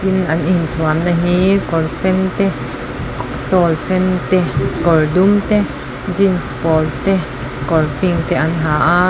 tin an in thuamna hi kawr sen te shawl sen te kawr dum te jeans pawl te kawr pink te an ha a.